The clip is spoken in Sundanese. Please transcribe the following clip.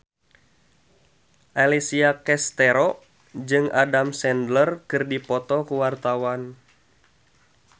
Alessia Cestaro jeung Adam Sandler keur dipoto ku wartawan